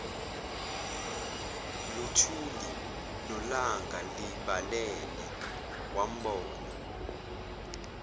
luthuli nolangalibalele wambona